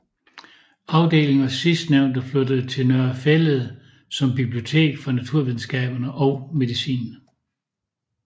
Afdeling og sidstnævnte flyttede til Nørre Fælled som bibliotek for naturvidenskaberne og medicin